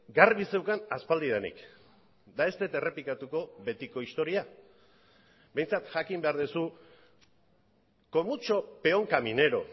garbi zeukan aspaldidanik eta ez dut errepikatuko betiko historia behintzat jakin behar duzu con mucho peón caminero